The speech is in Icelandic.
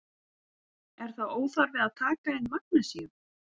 Er þá óþarfi að taka inn magnesíum?